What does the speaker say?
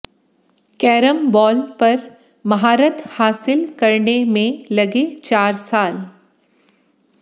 carrom ball पर महारथ हासिल करने में लगे चार साल